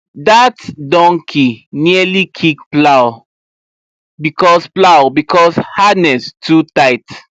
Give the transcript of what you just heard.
that donkey nearly kick plow because plow because harness too tight